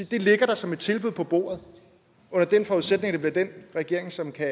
det ligger som et tilbud på bordet under den forudsætning at det er den regering som kan